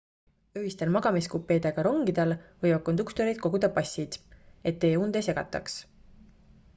öistel magamiskupeedega rongidel võivad konduktorid koguda passid et teie und ei segataks